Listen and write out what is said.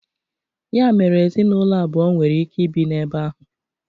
Ya mere ezinụlọ abụọ nwere ike ibi na-ebe ahụ.